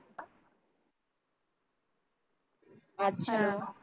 अच्छा